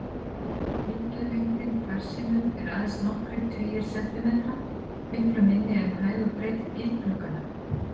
Bylgjulengdin farsímum er aðeins nokkrir tugir sentimetra, miklu minni en hæð og breidd bílglugganna.